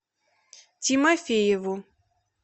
тимофееву